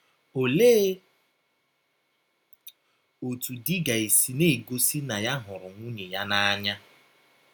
Ọlee ọtụ di ga - esi na - egọsi na ya hụrụ nwụnye ya n’anya?